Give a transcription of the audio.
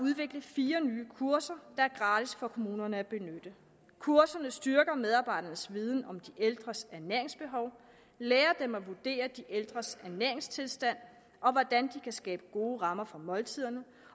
udvikle fire nye kurser der er gratis for kommunerne at benytte kurserne styrker medarbejdernes viden om de ældres ernæringsbehov lærer dem at vurdere de ældres ernæringstilstand og hvordan de kan skabe gode rammer for måltiderne